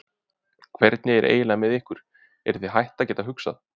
Hvernig er eiginlega með ykkur, eruð þið hætt að geta hugsað?